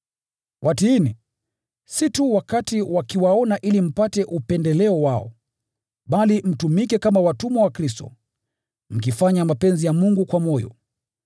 Watiini, si tu wakati wakiwaona ili mpate upendeleo wao, bali mtumike kama watumwa wa Kristo, mkifanya mapenzi ya Mungu kwa moyo.